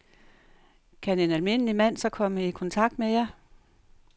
Kan en almindelig mand så komme i kontakt med jer?